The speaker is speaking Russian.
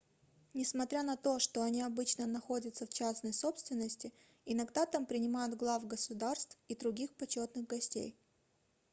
несмотря на то что они обычно находятся в частной собственности иногда там принимают глав государств и других почетных гостей